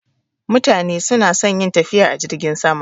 Mutane suna son yin tafiya a jirgin sama